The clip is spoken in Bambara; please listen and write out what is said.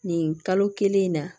Nin kalo kelen in na